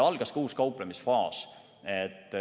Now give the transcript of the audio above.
Algas ka uus kauplemisfaas.